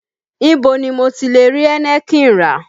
Ibo ni mo ti lè rí Heineken rà?